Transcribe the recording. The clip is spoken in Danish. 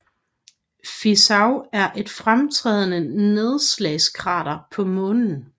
Fizeau er et fremtrædende nedslagskrater på Månen